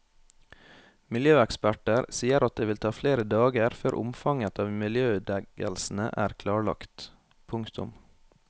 Miljøeksperter sier at det vil ta flere dager før omfanget av miljøødeleggelsene er klarlagt. punktum